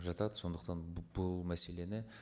жатады сондықтан бұл мәселені